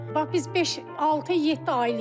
Bax biz beş, altı, yeddi ayılıq burda.